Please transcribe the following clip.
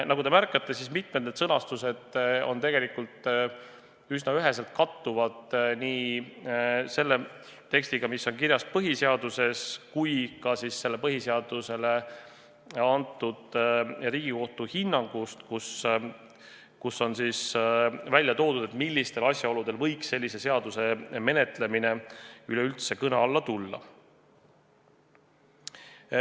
Nagu te märkate, mitmed need sõnastused tegelikult üsna üheselt kattuvad nii selle tekstiga, mis on kirjas põhiseaduses, kui ka põhiseadusest lähtuva Riigikohtu hinnanguga, kus on välja toodud, millistel asjaoludel võiks sellise seaduseelnõu menetlemine üldse kõne alla tulla.